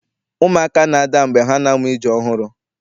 Ụmụaka na-ada mgbe ha na-amụ ije ọhụrụ.